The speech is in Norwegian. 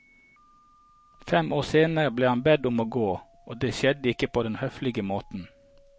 Fem år senere ble han bedt om å gå, og det skjedde ikke på den høflige måten.